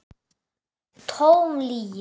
LÁRUS: Tóm lygi!